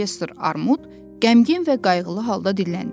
Professor Armud qəmgin və qayğılı halda dilləndi.